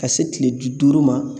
Ka se tile bi duuru ma